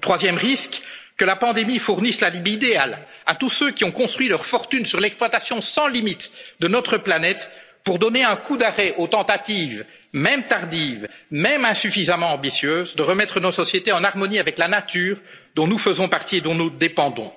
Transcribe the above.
Troisième risque que la pandémie fournisse l'alibi idéal à tous ceux qui ont construit leur fortune sur l'exploitation sans limites de notre planète pour donner un coup d'arrêt aux tentatives mêmes tardives, même insuffisamment ambitieuses de remettre nos sociétés en harmonie avec la nature dont nous faisons partie et dont nous dépendons.